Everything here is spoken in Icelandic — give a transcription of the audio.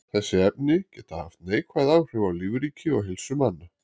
þessi efni geta haft neikvæð áhrif á lífríki og heilsu manna